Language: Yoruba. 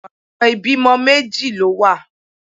Ọ̀nà méjì ìbímọ méjì ló wà.